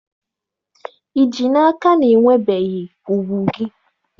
Ị ji n'aka na i nwebeghị ùgwù gị?